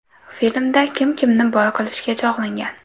Filmda kim kimni boy qilishga chog‘langan?